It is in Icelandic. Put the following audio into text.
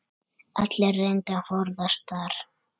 Allir reyndu að forðast það.